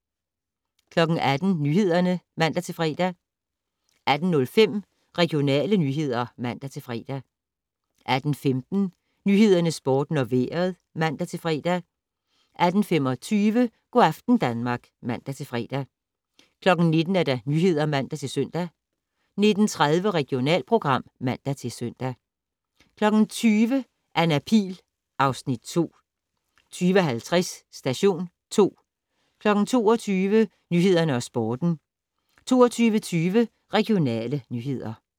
18:00: Nyhederne (man-fre) 18:05: Regionale nyheder (man-fre) 18:15: Nyhederne, Sporten og Vejret (man-fre) 18:25: Go' aften Danmark (man-fre) 19:00: Nyhederne (man-søn) 19:30: Regionalprogram (man-søn) 20:00: Anna Pihl (Afs. 2) 20:50: Station 2 22:00: Nyhederne og Sporten 22:20: Regionale nyheder